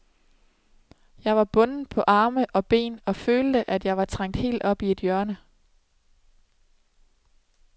Jeg var bundet på arme og ben og følte, at jeg var trængt helt op i et hjørne.